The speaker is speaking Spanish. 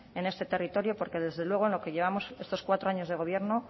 en este territorio porque desde luego en lo que llevamos estos cuatro años de gobierno